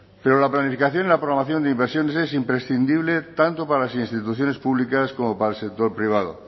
pero la planificación y la programación de inversiones es imprescindible tanto para las instituciones públicas como para el sector privado